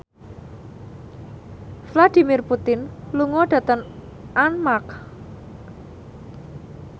Vladimir Putin lunga dhateng Armargh